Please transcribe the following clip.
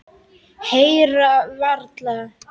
Heyra varla.